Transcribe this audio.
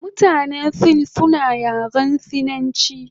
Mutanen sin suna yaren sinachi